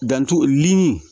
Dantu li